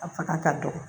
A fanga ka dɔgɔ